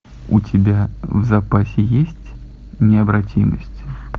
у тебя в запасе есть необратимость